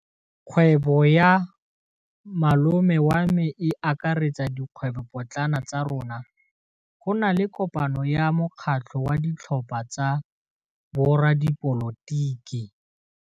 Kgwêbô ya malome wa me e akaretsa dikgwêbôpotlana tsa rona. Go na le kopanô ya mokgatlhô wa ditlhopha tsa boradipolotiki.